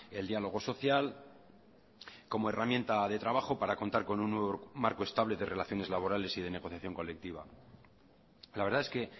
el diálogo social como herramienta de trabajo para contar con un nuevo marco estable de relaciones laborales y de negociación colectiva la verdad es que